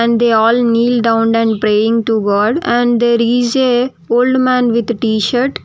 They all kneel down and praying to god and the is a old man with tshirt.